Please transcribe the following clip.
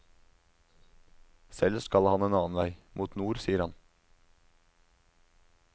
Selv skal han en annen vei, mot nord, sier han.